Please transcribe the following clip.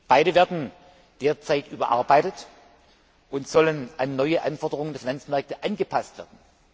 Beide werden derzeit überarbeitet und sollen an neue Anforderungen der Finanzmärkte angepasst werden.